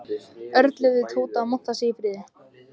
Örn leyfði Tóta að monta sig í friði.